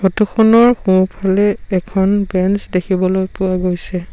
Photo খনৰ সোঁফালে এখন বেঞ্চ দেখিবলৈ পোৱা গৈছে।